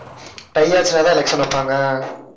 tie ஆச்சுனதாதான் election வைப்பாங்க